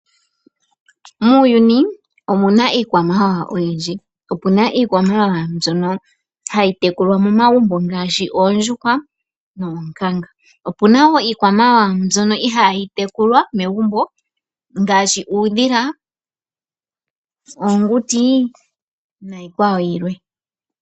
Muuyuni, omuna iikwamawawa oyindji. Opuna iikwamawawa mbyono hayi tekulwa momagumbo ngaashi oondjuhwa noonkanga. Opuna wo iikwamawawa mbyono ihayi tekulwa megumbo ngaashi uudhila, oonguti niikwawo yilwe.